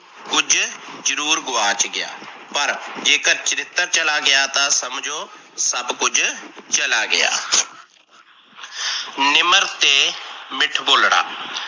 ਕੁਝ ਜਰੂਰ ਗੁਆਚ ਗਿਆ, ਪਰ ਜੇਕਰ ਚਰਿਤਰ ਚੱਲਾ ਗਿਆ ਤਾਂ ਸਮਜੋ ਸੱਭ ਕੁਝ ਚੱਲਾ ਗਿਆ। ਨਿਮਰ ਤੇ ਮਿੱਠ ਬੋਲਣਾ